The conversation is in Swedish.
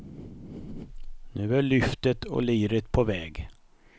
Nu är lyftet och liret på väg.